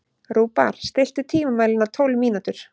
Rúbar, stilltu tímamælinn á tólf mínútur.